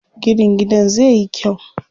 Ginin gidan zai yi kyau.